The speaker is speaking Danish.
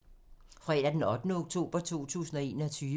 Fredag d. 8. oktober 2021